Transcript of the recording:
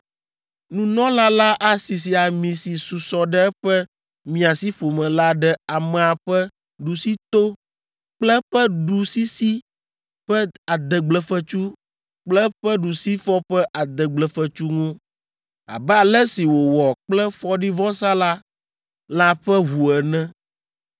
Nunɔla la asisi ami si susɔ ɖe eƒe miasiƒome la ɖe amea ƒe ɖusito kple eƒe ɖusisi ƒe adegblefetsu kple eƒe ɖusifɔ ƒe adegblefetsu ŋu, abe ale si wòwɔ kple fɔɖivɔsalã la ƒe ʋu ene.